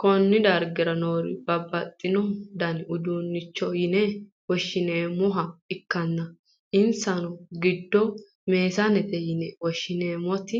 konne darga noori babbaxxino dani uduunnichooti yine woshshi'neemmoha ikkanna, insa giddoonnino meesanete yine woshhsi'nannita